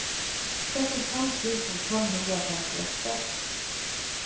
syttifem tusen fem hundre og femtiåtte